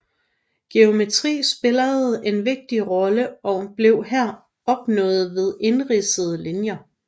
Geometri spillede en vigtig rolle og blev her opnået ved indridsede linjer